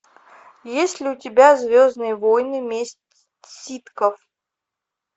есть ли у тебя звездные войны месть ситхов